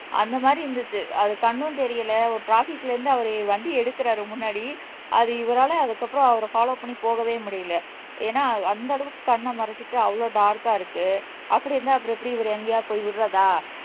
அந்த மாதிரி இருந்துச்சு அது கண்ணும் தெரியல ஒரு ட்ராபிக்ல இருந்து அவரு வண்டி எடுக்குறாரு முன்னாடி அது இவரால அதுக்கப்புறம் அவர பொல்லொவ் பண்ணி போகவே முடியல ஏன்னா அந்த அளவுக்கு கண்ணை மறைச்சிட்டு அவ்வளவு டார்க்கா இருக்கு அப்படி இருந்தா அப்புறம் எப்படி இவர் எங்கயாவது போய் விடுறதா